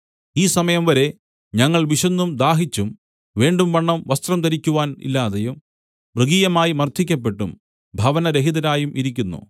ഈ സമയംവരെ ഞങ്ങൾ വിശന്നും ദാഹിച്ചും വേണ്ടുംവണ്ണം വസ്ത്രം ധരിക്കുവാൻ ഇല്ലാതെയും മൃഗീയമായി മർദ്ദിക്കപ്പെട്ടും ഭവനരഹിതരായും ഇരിക്കുന്നു